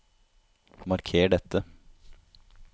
Marker dette